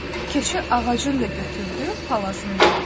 Keçi ağacın da götürdü palazını da.